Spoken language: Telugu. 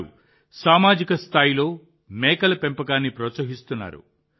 వారు సామాజిక స్థాయిలో మేకల పెంపకాన్ని ప్రోత్సహిస్తున్నారు